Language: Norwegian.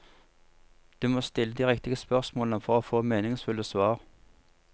Du må stille de riktige spørsmålene for å få meningsfulle svar.